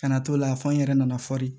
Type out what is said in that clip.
Ka na t'o la fɔ n yɛrɛ nana fɔri